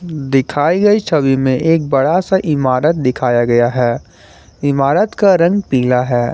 दिखाई गई छवि में एक बड़ा सा इमारत दिखाया गया है इमारत का रंग पीला है।